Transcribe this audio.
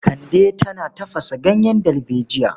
Kande tana tafasa ganyen dalbejiya.